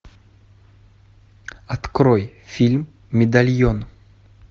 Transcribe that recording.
открой фильм медальон